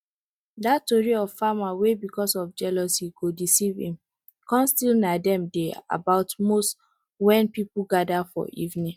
dat tori of farmer wey because of jealousy go deceive him corn still na dem dey about most wen people gather for evening